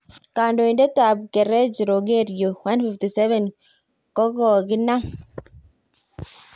Kandoitet ap kerej Rogerio 157ko kokinap